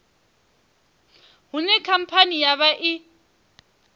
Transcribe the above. hune khamphani ya vha i